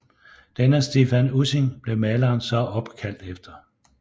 Denne Stephan Ussing blev maleren så opkaldt efter